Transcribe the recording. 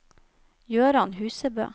Gøran Husebø